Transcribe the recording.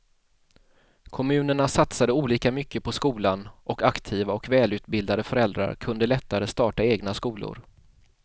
Kommunerna satsade olika mycket på skolan och aktiva och välutbildade föräldrar kunde lättare starta egna skolor.